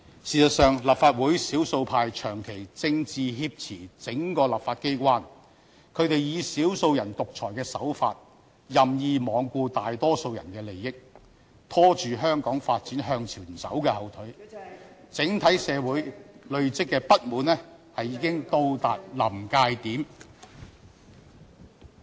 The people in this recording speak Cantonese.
事實上，立法會少數派長期"政治挾持"整個立法機關，他們以"少數人獨裁"的手法，任意罔顧大多數人的利益，拖住香港發展向前走的後腿，整體社會累積的不滿已到達臨界點。